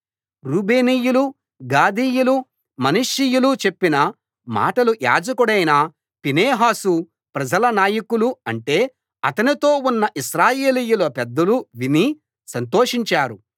రూబేనీయులు గాదీయులు మనష్షీయులు చెప్పిన మాటలు యాజకుడైన ఫీనెహాసు ప్రజల నాయకులు అంటే అతనితో ఉన్న ఇశ్రాయేలీయుల పెద్దలు విని సంతోషించారు